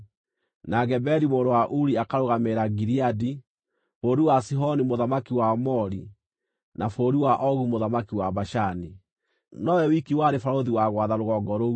na Geberi mũrũ wa Uri akarũgamĩrĩra Gileadi (bũrũri wa Sihoni mũthamaki wa Aamori, na bũrũri wa Ogu mũthamaki wa Bashani). Nowe wiki warĩ barũthi wa gwatha rũgongo rũu.